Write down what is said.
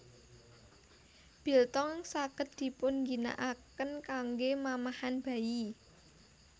Biltong saged dipunginakaken kanggé mamahan bayi